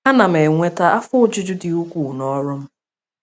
Ana m enweta afọ ojuju dị ukwuu n’ọrụ m.